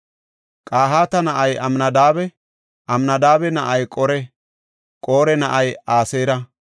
Qahaata na7ay Amnadaabe; Amnadaabe na7ay Qore; Qore na7ay Aseera;